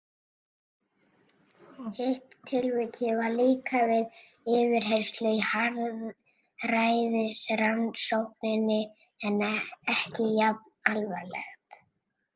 Hitt tilvikið var líka við yfirheyrslu í harðræðisrannsókninni en ekki jafn alvarlegt.